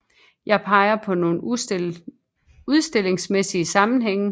Jeg peger på nogle udstillingsmæssige sammenhænge